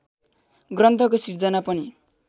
ग्रन्थको सिर्जना पनि